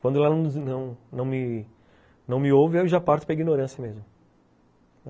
Quando ela não não não me ouve, eu já parto para ignorância mesmo.